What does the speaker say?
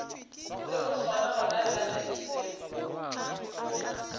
lego sona gonabjale le seo